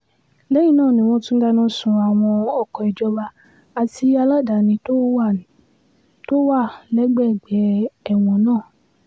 lẹ́yìn náà ni wọ́n tún dáná sun àwọn ọkọ ìjọba àti aládàáni tó wà tó wà lágbègbè ẹ̀wọ̀n náà